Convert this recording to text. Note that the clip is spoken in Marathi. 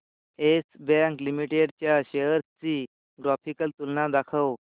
येस बँक लिमिटेड च्या शेअर्स ची ग्राफिकल तुलना दाखव